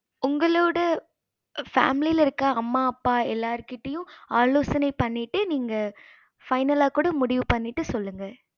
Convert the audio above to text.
உங்களோட family இருக்க அம்மா அப்பா எல்லார் கிட்டயும் ஆலோசைனை பண்ணிட்டு நீங்க final கூட முடிவு பண்ணிட்டு சொல்லுங்க